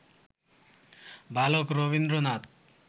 বালক রবীন্দ্রনাথ